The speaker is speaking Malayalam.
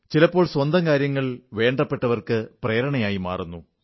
ചിലപ്പോൾ സ്വന്തം കാര്യങ്ങൾ വേണ്ടപ്പെട്ടവർക്ക് പ്രേരണയായി മാറുന്നു